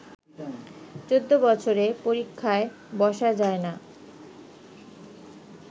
চৌদ্দ বছরে পরীক্ষায় বসা যায় না